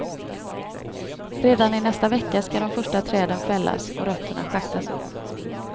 Redan i nästa vecka ska de första träden fällas och rötterna schaktas upp.